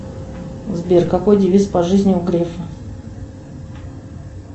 сбер какой девиз по жизни у грефа